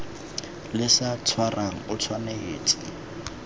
le sa tshwarang o tshwanetse